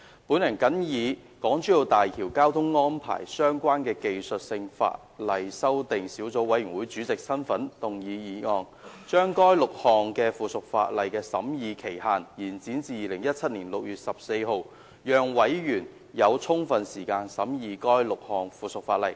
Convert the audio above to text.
本人謹以與港珠澳大橋交通安排相關的技術性法例修訂小組委員會主席身份，動議議案，將該6項附屬法例的審議期限延展至2017年6月14日，讓委員有充分時間審議該6項附屬法例。